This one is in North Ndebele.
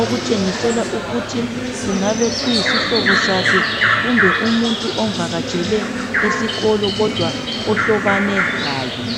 okutshengisela ukuthi kungaba kuyisihlobo sakhe kumbe umuntu omvakatshele esikolo kodwa ohlobane laye.